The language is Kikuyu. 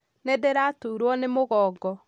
Nĩndĩraturwo nĩ mũgongo